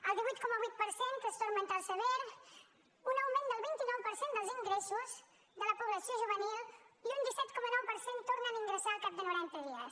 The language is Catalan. el divuit coma vuit per cent trastorn mental sever un augment del vint nou per cent dels ingressos de la població juvenil i un disset coma nou per cent tornen a ingressar al cap de noranta dies